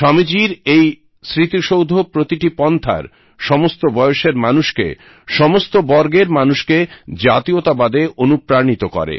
স্বামীজীর এই স্মৃতিসৌধ প্রতিটি পন্থার সমস্ত বয়সের মানুষকে সমস্ত বর্গের মানুষকে জাতীয়তাবাদে অনুপ্রাণিত করে